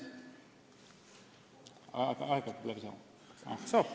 Aeg hakkab läbi saama?